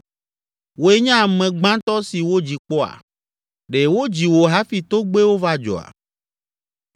“Wòe nye ame gbãtɔ si wodzi kpɔa? Ɖe wodzi wò hafi togbɛwo va dzɔa?